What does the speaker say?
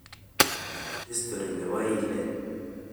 Histori nebo ilet